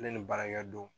Ne ni baarakɛ don